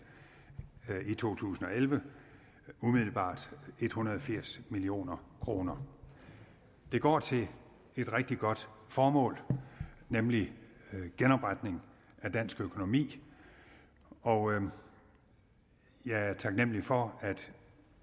i to tusind og elleve umiddelbart en hundrede og firs million kroner de går til et rigtig godt formål nemlig genopretning af dansk økonomi og jeg er taknemlig for at et